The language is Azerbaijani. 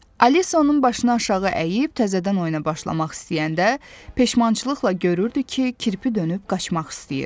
Alisa onun başına aşağı əyib təzədən oyuna başlamaq istəyəndə peşmançılıqla görürdü ki, kirpi dönüb qaçmaq istəyir.